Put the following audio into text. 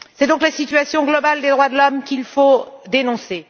C'est donc la situation globale des droits de l'homme qu'il faut dénoncer.